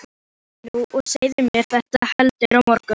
Hvíldu þig nú og segðu mér þetta heldur á morgun.